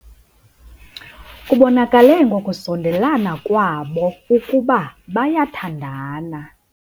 Kubonakale ngokusondelana kwabo ukuba bayathandana.